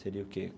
Seria o quê?